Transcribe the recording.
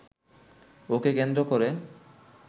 ওকে কেন্দ্র করে